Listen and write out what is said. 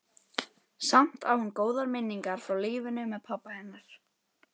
Samt á hún góðar minningar frá lífinu með pabba hennar.